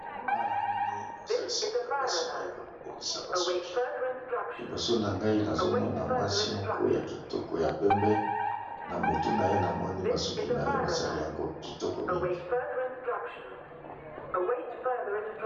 Awa na moni eza esika basi ba yaka ko bongisa ba suki . Liboso na ngai nazo mona mwasi moko ya kitoko ya pembe, na motu na ye na moni bacsuki na ye ba sali yango kitoko mingi .